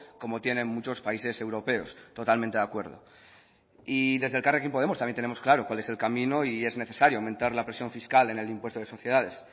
como tienen muchos países europeos totalmente de acuerdo y desde elkarrekin podemos también tenemos claro cuál es el camino y es necesario aumentar la presión fiscal en el impuesto de sociedades